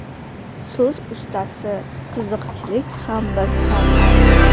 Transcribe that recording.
So‘z ustasi, qiziqchilik ham bir san’at.